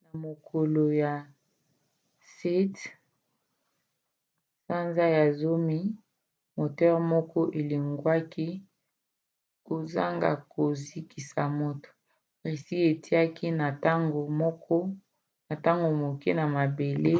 na mokolo ya 7 sanza ya zomi moteur moko elongwaki kozanga kozokisa moto. russie atiaki na ntango moke na mabele